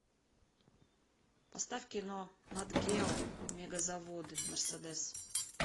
поставь кино нат гео мегазаводы мерседес